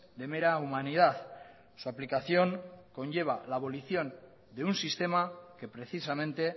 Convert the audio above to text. de mera humanidad su aplicación conlleva la abolición de un sistema que precisamente